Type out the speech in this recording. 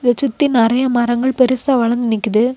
சுத்தி நெறைய மரங்கள் பெருசா வளந்து நிக்குது.